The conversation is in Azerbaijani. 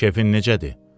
Keyfin necədir?